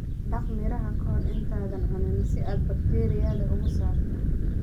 Dhaq miraha ka hor intaadan cunin si aad bakteeriyada uga saarto.